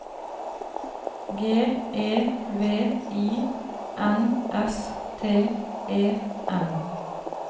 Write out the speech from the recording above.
G E V I N S T E N